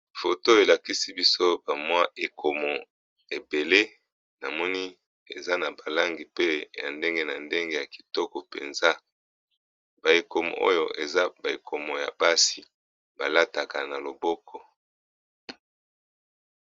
Foto oyo elakisi biso ba ekomo ebele eza na ba langi ya ndenge na ndenge pe ya kitoko eza ya basi balataka na loboko.